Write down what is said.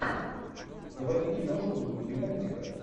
заводи киношку в духе мультика